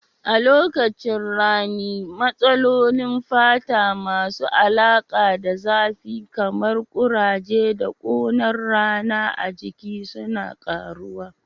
A lokacin rani, matsalolin fata masu alaƙa da zafi kamar kuraje da kunar rana a jiki suna ƙaruwa.